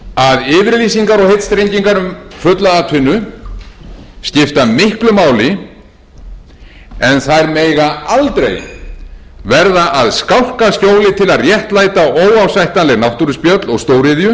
að yfirlýsingar og heitstrengingar um fulla atvinnu skipta miklu máli en þær mega aldrei verða að skálkaskjóli til að réttlæta óásættanleg náttúruspjöll og stóriðju á forsendum